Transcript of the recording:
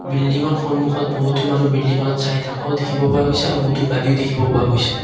বিল্ডিংৰ সন্মুখত বহুতো মানুহ বিল্ডিংখনত চাই থকাও দেখিব পোৱা গৈছে আৰু বহুতো গাড়ীও দেখিব পোৱা গৈছে।